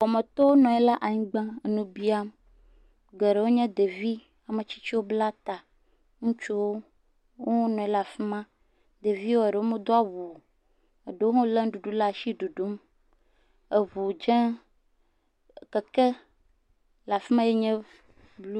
Wɔmetɔ nɔ anyi ɖe anyigba le nu biam geɖewo nye ɖevi, ame tsitsii bla ta ŋutsuwo wo hã wonɔ anyi ɖe afi a. Ɖeviwo eɖewo medo awu o eɖewo hã le nuɖuɖu ɖe asi le ɖuɖum. Eŋu dze, keke le afi ma ye nye blu.